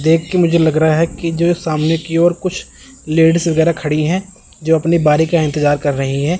देख के मुझे लग रहा है कि जो सामने की ओर कुछ लेडिस वगैरह खड़ी हैं जो अपनी बारी का इंतजार कर रही है।